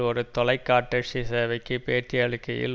ஒரு தொலைக்காட்டசி சேவைக்கு பேட்டி அளிக்கையில்